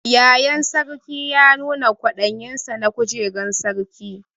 Yayan Sarkin ya nuna kwadayin sa na kujeran sarki.